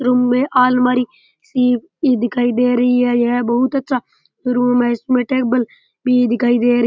Room में आलमारी सी दिखाई दे रही है यह बहुत अच्छा रूम है इसमें टेबल भी दिखाई दे रही है।